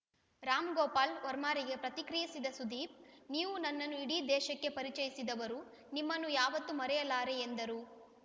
ರಾಮ್‌ಗೋಪಾಲ್‌ ವರ್ಮಾರಿಗೆ ಪ್ರತಿಕ್ರಿಯಿಸಿದ ಸುದೀಪ್‌ ನೀವು ನನ್ನನ್ನು ಇಡೀ ದೇಶಕ್ಕೆ ಪರಿಚಯಿಸಿದವರು ನಿಮ್ಮನ್ನು ಯಾವತ್ತೂ ಮರೆಯಲಾರೆ ಎಂದರು